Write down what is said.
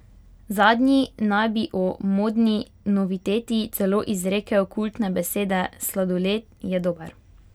Zadnji naj bi o modni noviteti celo izrekel kultne besede: "Sladoled je dober.